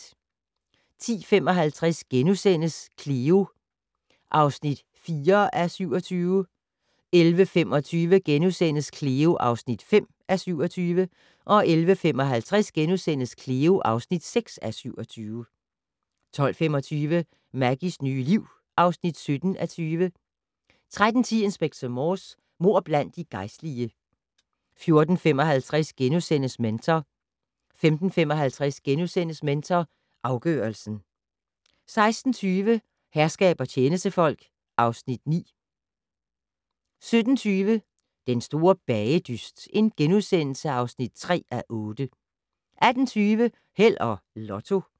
10:55: Cleo (4:27)* 11:25: Cleo (5:27)* 11:55: Cleo (6:27)* 12:25: Maggies nye liv (17:20) 13:10: Inspector Morse: Mord blandt de gejstlige 14:55: Mentor * 15:55: Mentor afgørelsen * 16:20: Herskab og tjenestefolk (Afs. 9) 17:20: Den store bagedyst (3:8)* 18:20: Held og Lotto